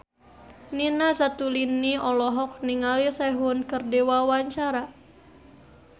Nina Zatulini olohok ningali Sehun keur diwawancara